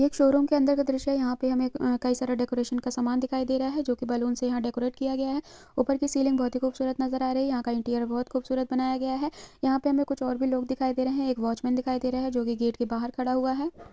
एक शोरूम के अंदर का दृश्य है यहाँ पे हमे अ कई सारा डेकोरेशन का सामान दिखाई दे रहा है जो की बैलून्स से यहाँ डेकोरेट किया गया है ऊपर की सीलिंग बहुत ही खूबसूरत नजर आ रही है यहाँ का इंटीरियर बहुत खूबसूरत बनाया गया है यहाँ पे हमे कुछ और भी लोग दिखाई दे रहे है एक वॉचमन दिखाई दे रहा है जो की गेट के बाहर खड़ा हुआ हैं।